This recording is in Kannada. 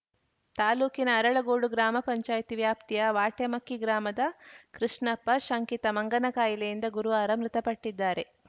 ತಾಲೂಕಿನ ಅರಳಗೋಡು ಗ್ರಾಮ ಪಂಚಾಯ್ತಿ ವ್ಯಾಪ್ತಿಯ ವಾಟೆಮಕ್ಕಿ ಗ್ರಾಮದ ಕೃಷ್ಣಪ್ಪ ಶಂಕಿತ ಮಂಗನಕಾಯಿಲೆಯಿಂದ ಗುರುವಾರ ಮೃತಪಟ್ಟಿದ್ದಾರೆ